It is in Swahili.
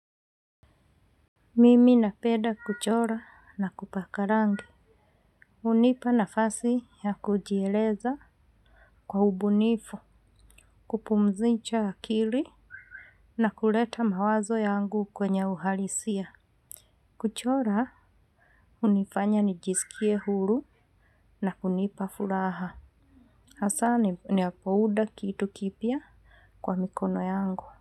Mimi napenda kuchora na kupaka rangi. Unipa nafasi ya kujieleza kwa ubunifu, kupumzicha akili na kuleta mawazo yangu kwenye uhalisia. Kuchora hunifanya nijiskie huru na kunipa furaha. Hasani ninapounda kitu kipya kwa mikono yangu.